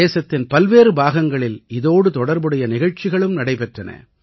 தேசத்தின் பல்வேறு பாகங்களில் இதோடு தொடர்புடைய நிகழ்ச்சிகளும் நடைபெற்றன